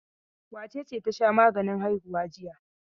Wace ce ta sha maganin haihuwa jiya?